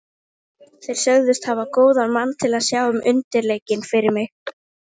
Þeir sögðust hafa góðan mann til að sjá um undirleikinn fyrir mig.